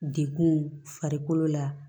Dekun farikolo la